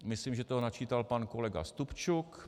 Myslím, že to načítal pan kolega Stupčuk.